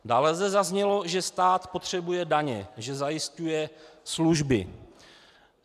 Dále zde zaznělo, že stát potřebuje daně, že zajišťuje služby.